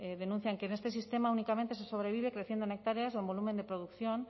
denuncian que en este sistema únicamente se sobrevive creciendo en hectáreas o en volumen de producción